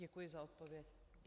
Děkuji za odpověď.